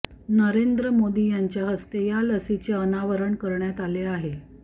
नरेंद्र मोदी यांच्या हस्ते या लसीचे अनावरण करण्यात आले आहे